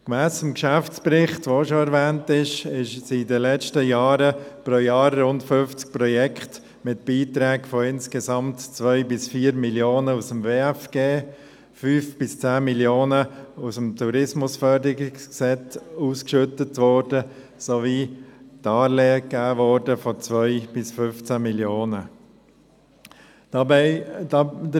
Gemäss dem Geschäftsbericht, der auch schon erwähnt worden ist, wurden in den letzten Jahren pro Jahr rund 50 Projekte mit Beiträgen von insgesamt 2–4 Mio. Franken aufgrund des WFG, 5–10 Mio. Franken aufgrund des TEG ausgeschüttet sowie Darlehen von 2–15 Mio. Franken gegeben.